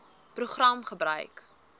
program gebruik